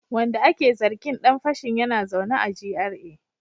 Wanda ake zargin dan fashin yana zaune a GRA